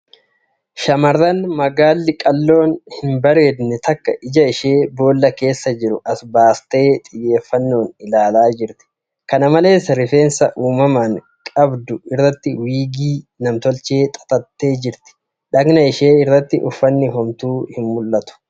Shamarran magaalli qalloon hin bareedne takka ija ishee boolla keessa jiru as baastee xiyyeeffannoon ilaalaa jirti . Kana malees, rifeensa uumamaan qabu irratti wiigii namtolchee xaxattee jirti. Dhaqna ishee irratti uffanni homtuu hin mul'atu.